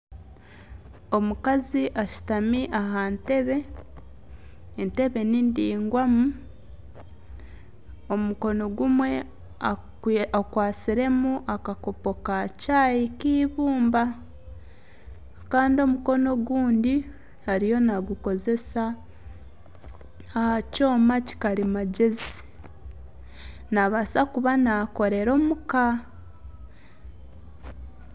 Omukazi ashutami aha ntebe, entebe nindaigwamu omukono gumwe akwatsiremu akakopo ka chai k'eibumba Kandi omukono obundi ariyo nagukozesa aha kyoma kyakarimagyezi naabaasa kuba nakorera omuka